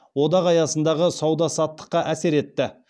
одақ аясындағы сауда саттыққа әсер етті